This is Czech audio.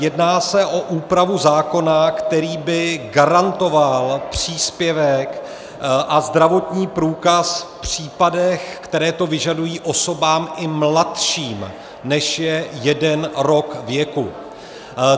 Jedná se o úpravu zákona, který by garantoval příspěvek a zdravotní průkaz v případech, které to vyžadují, osobám i mladším, než je jeden rok věku.